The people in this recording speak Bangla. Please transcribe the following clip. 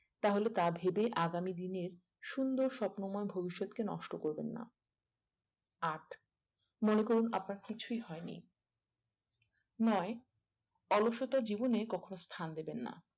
তাহলে তা ভেবে আগামী দিনের সুন্দর স্বপ্নময় ভবিষ্ৎকে নষ্ট করবেন না আট মনে করুন আপনার কিছুই হয়নি নয় অলসতার জীবনে কখনো স্থান দেবেন না